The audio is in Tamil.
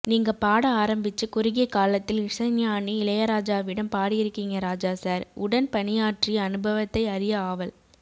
நீங்க பாட ஆரம்பிச்சு குறுகிய காலத்தில் இசைஞானி இளையராஜாவிடம் பாடியிருக்கீங்க ராஜா சார் உடன் பணியாற்றிய அனுபவத்தை அறிய ஆவல்